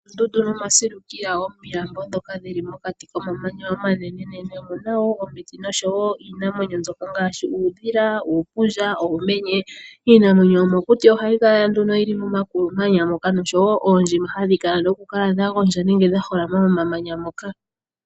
Oondundu noma silikila nomilambo dhoka dhili mokati komamanya omanene nene omu nawo omiti no showo iinamwenyo ngashi uudhila, uupundja ,uumenye. Iinamwenyo yomokuti ohayi kala nduno yili momakulu manya , noshowo ondjima hadhi kala dha gwondja nenge dha holama momamanya moka